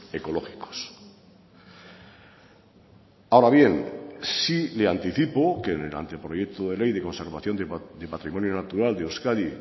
ecológicos ahora bien sí le anticipo que en el anteproyecto de ley de conservación de patrimonio natural de euskadi